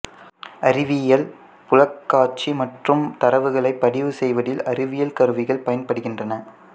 அறிவியலில் புலக்காட்சி மற்றும் தரவுகளைப் பதிவு செய்வதில் அறிவியல் கருவிகள் பயன்படுகின்றன